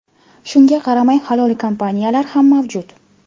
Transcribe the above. Shunga qaramay halol kompaniyalar ham mavjud!